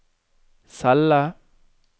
celle